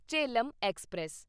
Jhelum express